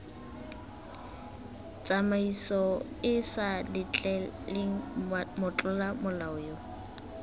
tsamaisoeesa letleleleng motlola molao yo